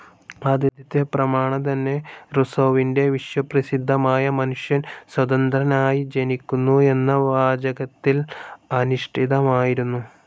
ആദ്യത്തെ പ്രമാണം തന്നെ റുസോവിൻ്റെ വിശ്വപ്രസിദ്ധമായ മനുഷ്യൻ സ്വതന്ത്രനായി ജനിക്കുന്നു എന്ന വാചകത്തിൽ അധിഷ്ഠിതമായിരുന്നു.